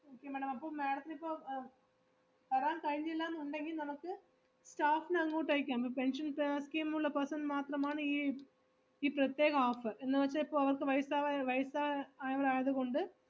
okay madam അപ്പൊ madam ത്തിനിപ്പോ അഹ് വരാൻ കഴിഞ്ഞില്ലാന്നുണ്ടെങ്കിൽ നമ്മക്ക് staff നെ അങ്ങോട്ട് അയക്കാം, pe~ pension seva scheme ഉള്ള person ന് മാത്രമാണ് ഈ ഈ പ്രത്യേക offer എന്നുവെച്ചാ ഇപ്പോ അവർക്ക് വയസാവ~ വയസായവരായത് കൊണ്ട്